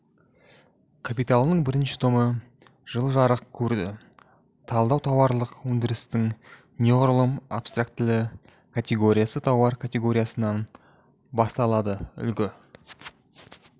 капиталының бірінші томы жылы жарық көрді талдау тауарлық өндірістің неғұрлым абстрактілі категориясы тауар категориясынан басталады үлгі